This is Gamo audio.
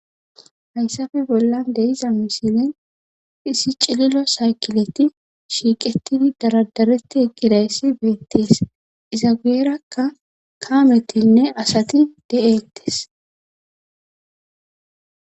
Hayssafe bollan deiza misilen hisi cililo saykileti shiiqetidi daradareti ekidayssi beettees izawierakka kaametinne asati de7eettes